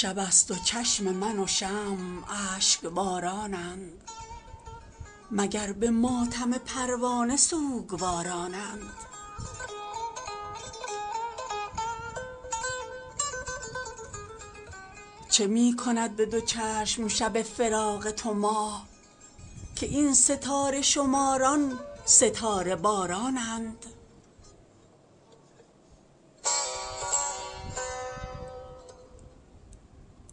شب است و چشم من و شمع اشک بارانند مگر به ماتم پروانه سوگوارانند چه می کند بدو چشم شب فراق تو ماه که این ستاره شماران ستاره بارانند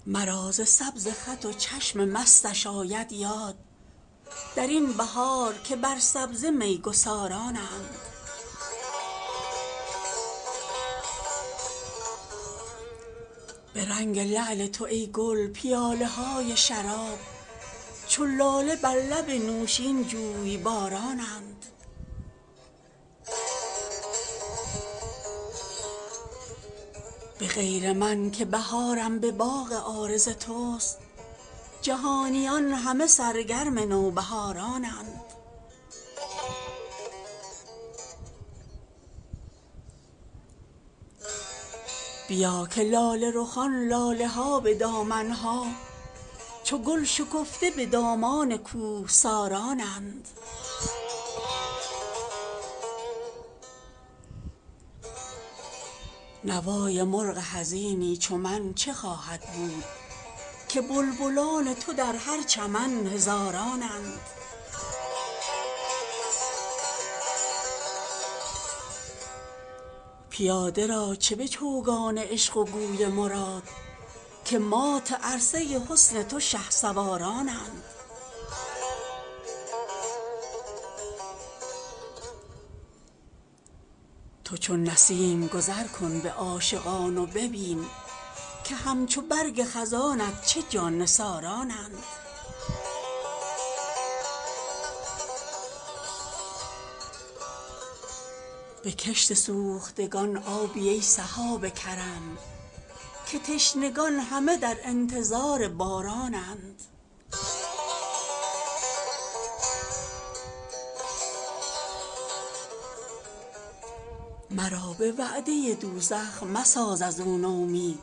مرا ز سبز خط و چشم مستش آید یاد در این بهار که بر سبزه می گسارانند به رنگ لعل تو ای گل پیاله های شراب چو لاله بر لب نوشین جویبارانند به غیر من که بهارم به باغ عارض تست جهانیان همه سرگرم نوبهارانند بیا که لاله رخان لاله ها به دامن ها چو گل شکفته به دامان کوهسارانند نوای مرغ حزینی چو من چه خواهد بود که بلبلان تو در هر چمن هزارانند پیاده را چه به چوگان عشق و گوی مراد که مات عرصه حسن تو شهسوارانند تو چون نسیم گذرکن به عاشقان و ببین که همچو برگ خزانت چه جان نثارانند به کشت سوختگان آبی ای سحاب کرم که تشنگان همه در انتظار بارانند مرا به وعده دوزخ مساز از او نومید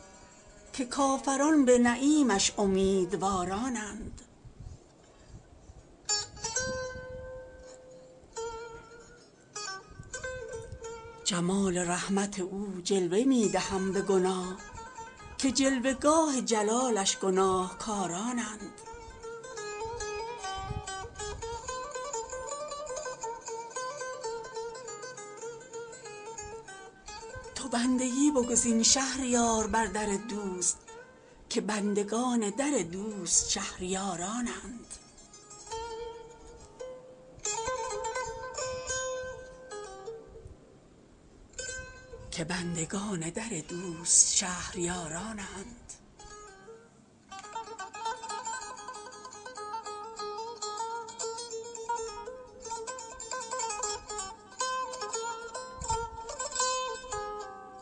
که کافران به نعیمش امیدوارانند جمال رحمت او جلوه می دهم به گناه که جلوه گاه جلالش گناهکارانند تو بندگی بگزین شهریار بر در دوست که بندگان در دوست شهریارانند